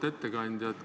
Auväärt ettekandja!